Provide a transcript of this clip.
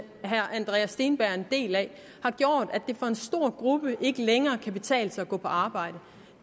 andreas steenberg er en del af har gjort at det for en stor gruppe ikke længere kan betale sig at gå på arbejde